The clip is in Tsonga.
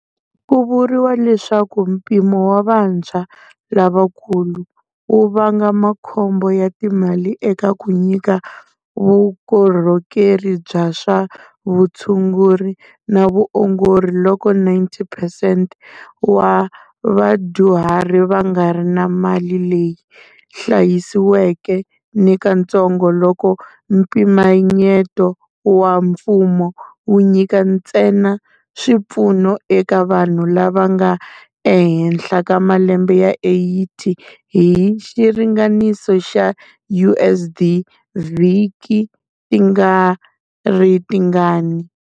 Ku vuriwa leswaku mpimo wa vantshwa-lavakulu wu vanga makhombo ya timali eka ku nyika vukorhokeri bya swa vutshunguri na vuongori loko 90 percent wa vadyuhari va nga ri na mali leyi hlayisiweke nikatsongo loko mpimanyeto wa mfumo wu nyika ntsena swipfuno eka vanhu lava nga ehenhla ka malembe ya 80 hi xiringaniso xa USD-vhiki ti nga ri tingani.